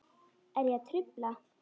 Er ég að trufla?